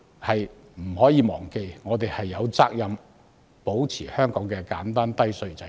大家不能忘記，我們有責任保持香港的簡單低稅制度。